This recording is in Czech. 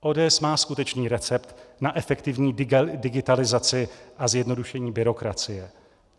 ODS má skutečný recept na efektivní digitalizaci a zjednodušení byrokracie.